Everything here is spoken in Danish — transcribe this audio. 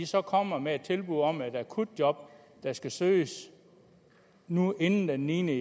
så kommer med et tilbud om et akutjob der skal søges nu inden den niende